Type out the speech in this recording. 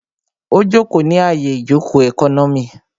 Ó jòkó ní àyè ìjòkó ẹkọ́nọ́mì